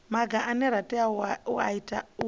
maga ane a tea u